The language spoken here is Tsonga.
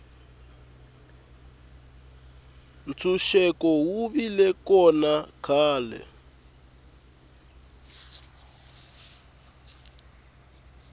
ntshuxeko wu vile kona khale